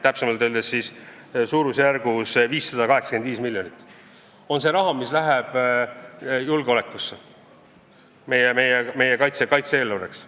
Täpsemalt öeldes 585 miljonit on see summa, mis läheb julgeolekusse, meie kaitse-eelarvessse.